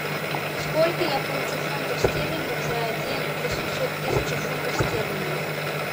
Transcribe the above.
сколько я получу фунтов стерлингов за один восемьсот тысяча фунтов стерлингов